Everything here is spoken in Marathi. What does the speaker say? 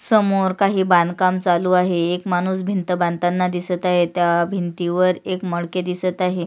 समोर काही बांधकाम चालु आहे एक माणुस भिंत बांधताना दिसत आहे त्या भिंतीवर एक मडके दिसत आहे.